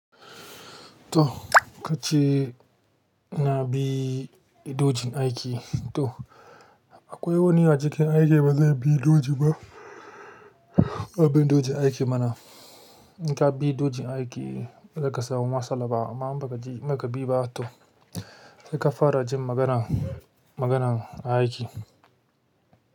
To kace na bi dojin aiki to akwai wani a cikin aikin ba zai bi doji ba. Abin dojin aiki mana in ka bi dojin aiki ba za ka samu matsala ba amma in bakaji ba in baki ba to zaka fara jin maganan maganan aiki.